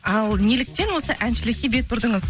ал неліктен осы әншілікке бет бұрдыңыз